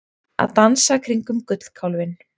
Að dansa kringum gullkálfinn